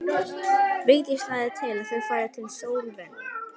Vigdís lagði til að þau færu til Slóveníu.